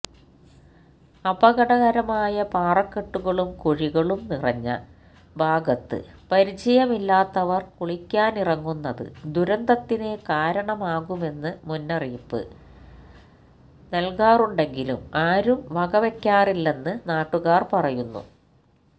അപകടകരമായ പാറക്കെട്ടുകളും കുഴികളും നിറഞ്ഞ ഭാഗത്ത് പരിചയമില്ലാത്തവര് കുളിക്കാനിറങ്ങുന്നത് ദുരന്തത്തിന് കാരണമാകാമെന്ന് മുന്നറിയിപ്പ് നല്കാറുണ്ടെങ്കിലും ആരും വകവെക്കാറില്ലെന്ന് നാട്ടുകാര് പറയുന്നു